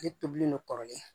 Ale tobilen don kɔrɔlen